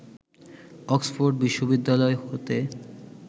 Oxford বিশ্ববিদ্যালয় হতে